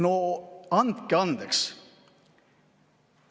No andke andeks!